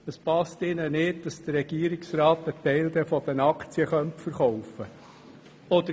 Es gefällt ihr nicht, dass der Regierungsrat einen Teil der Aktien verkaufen könnte.